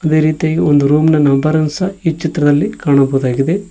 ಅದೇ ರೀತಿಯು ಒಂದು ರೂಮ್ ನ ನಂಬರ್ ಅನ್ನು ಸಹ ಈ ಚಿತ್ರದಲ್ಲಿ ಕಾಣಬಹುದಾಗಿದೆ.